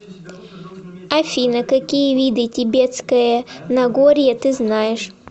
афина какие виды тибетское нагорье ты знаешь